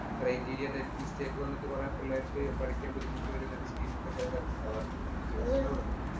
criteria യുടെ mistake വന്നിട്ട് ചെല കൊറേ പിള്ളേര്‍ക്ക് പഠിക്കാന്‍ ബുദ്ധിമുട്ട് വരുന്ന ഒരു scene ഒക്കെ ചെല സ്ഥലത്ത് ഒണ്ടാകാറുണ്ട്.